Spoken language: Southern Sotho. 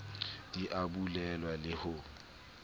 di a bulelwa le ho